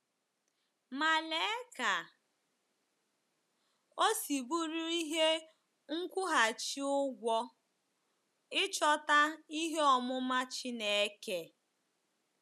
Ma lee ka o si bụrụ ihe nkwụghachi ụgwọ ịchọta "ihe ọmụma Chineke!"